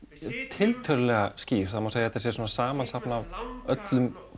tiltölulega skýr það má segja að þetta sé svona samansafn af öllum